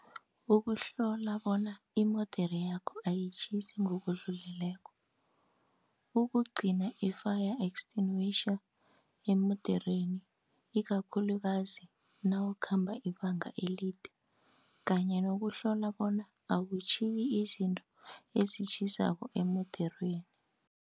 Ukuhlola bona imodere yakho ayitjhisi ngokudluleleko, ukugcina i-fire extinguisher emodereni, ikakhulukazi nawukhamba ibanga elide kanye nokuhlola bona awutjhiyi izinto ezitjhisako emodereni.